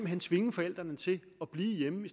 hen tvinge forældrene til at blive hjemme i